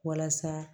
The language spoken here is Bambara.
Walasa